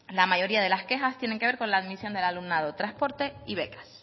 la mayoría de las quejas tienen que ver con la admisión del alumnado transporte y becas